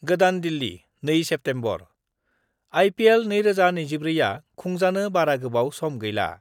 गोदान दिल्ली, 2 सेप्तेम्बर:आइपिएल 2024 आ खुंजानो बारा गोबाव सम गैला।